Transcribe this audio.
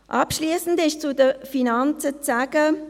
Abschliessend ist zu den Finanzen zu sagen: